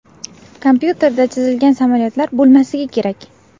Kompyuterda chizilgan samolyotlar bo‘lmasligi kerak.